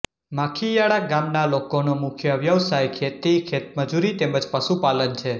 માખીયાળા ગામના લોકોનો મુખ્ય વ્યવસાય ખેતી ખેતમજૂરી તેમ જ પશુપાલન છે